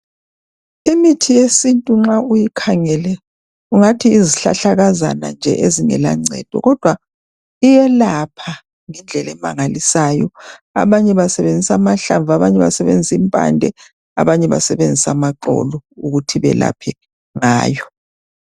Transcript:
Imithi yesintu nxa uyikhangele ungathi yizihlahlakazana nje ezingela ncendo kodwa iyelapha ngendlela emangalisayo abanye basebenzisa amahlanvu abanye basebenzisa impande abanye amaxolo ukuthi balaphe ngayo.